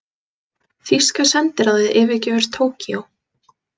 Þýska sendiráðið yfirgefur Tókýó